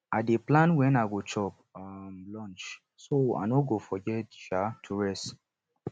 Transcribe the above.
i dey plan when to chop um lunch so i no go forget um to rest